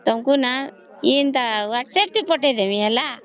ତମକୁ ନ Whatsapp ରେ ପଠେଇଦେବି ନ